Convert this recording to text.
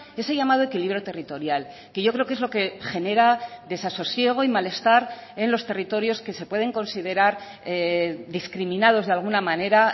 ese llamado equilibrio territorial que yo creo que es lo que genera desasosiego y malestar en los territorios que se pueden considerar discriminados de alguna manera